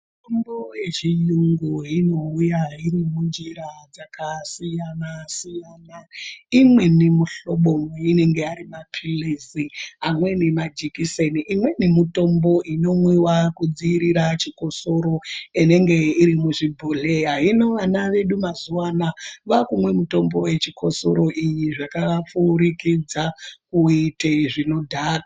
Mitombo yechiyungu inouya iri munjira dzakasiyana siyana imweni mihlobo anenge Ari mapiritsi amweni majekiseni imweni mitombo inomwiwa kudzivirira chikosoro inenge iri muchibhodhleya hino ana edu mazuva anaya vakumwe mitombo yechikosoro iyi zvakapfurikidza kuite zvinodhaka.